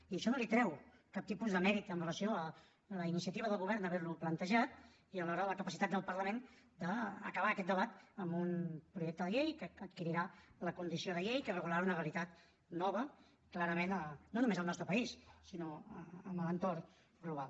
i això no li treu cap tipus de mèrit amb relació a la iniciativa del govern d’haver ho plantejat i alhora a la capacitat del parlament d’acabar aquest debat amb un projecte de llei que adquirirà la condició de llei que regularà una realitat nova clarament no només al nostre país sinó en l’entorn global